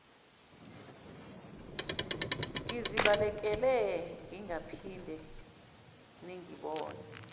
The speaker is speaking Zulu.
ngizibalekele ningaphinde ningibone